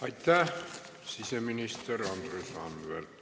Aitäh, siseminister Andres Anvelt!